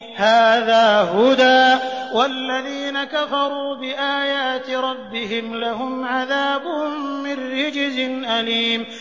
هَٰذَا هُدًى ۖ وَالَّذِينَ كَفَرُوا بِآيَاتِ رَبِّهِمْ لَهُمْ عَذَابٌ مِّن رِّجْزٍ أَلِيمٌ